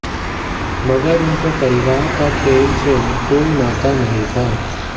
मगर उनके परिवार का खेल से कोई नाता नहीं था